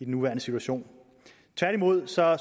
nuværende situation tværtimod